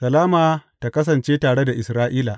Salama tă kasance tare da Isra’ila.